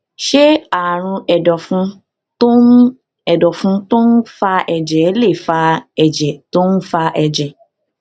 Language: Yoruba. ṣé àrùn èdòfun tó ń èdòfun tó ń fa èjè lè fa èjè tó ń fa èjè